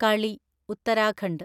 കളി - ഉത്തരാഖണ്ഡ്